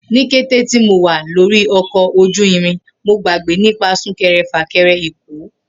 Ni kete ti Mo wa lori ọkọ oju irin, Mo gbagbe nipa sunkẹrẹ- fakẹrẹ Eko.